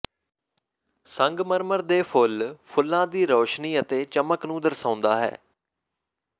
ਸੰਗਮਰਮਰ ਦੇ ਫੁੱਲ ਫੁੱਲਾਂ ਦੀ ਰੌਸ਼ਨੀ ਅਤੇ ਚਮਕ ਨੂੰ ਦਰਸਾਉਂਦਾ ਹੈ